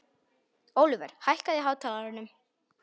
Ólíver, hækkaðu í hátalaranum.